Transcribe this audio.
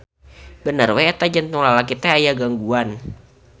Bener we eta jantung lalaki teh aya gangguan.